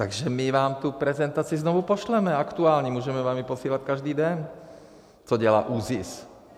Takže my vám tu prezentaci znovu pošleme, aktuální, můžeme vám ji posílat každý den, co dělá ÚZIS.